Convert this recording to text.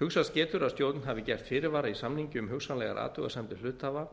hugsast getur að stjórn hafi gert fyrirvara í samningi um hugsanlegar athugasemdir hluthafa